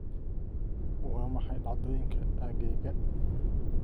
Waa maxay dhacdooyinka aaggayga?